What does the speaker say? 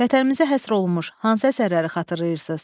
Vətənimizə həsr olunmuş hansı əsərləri xatırlayırsınız?